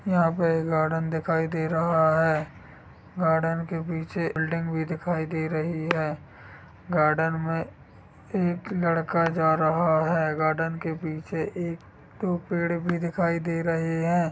यहाँ पे एक गार्डन दिखाई दे रहा है। गार्डन के पीछे बिल्डिंग भी दिखाई दे रही है। गार्डन मे एक लड़का जा रहा है। गार्डन के पीछे एक दो पेड़ भी दिखाई दे रहे हैं।